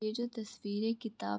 ये जो तस्वीर है किताब --